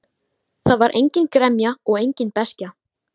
Það var engin gremja og engin beiskja.